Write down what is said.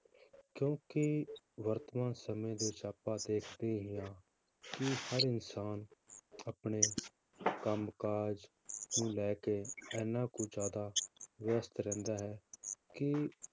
ਕਿਉਂਕਿ ਵਰਤਮਾਨ ਸਮੇਂ ਦੇ ਵਿੱਚ ਆਪਾਂ ਦੇਖਦੇ ਹੀ ਹਾਂ ਕਿ ਹਰ ਇਨਸਾਨ ਆਪਣੇ ਕੰਮ ਕਾਜ ਨੂੰ ਲੈ ਕੇ ਇੰਨਾ ਕੁ ਜ਼ਿਆਦਾ ਵਿਅਸਤ ਰਹਿੰਦਾ ਹੈ, ਕਿ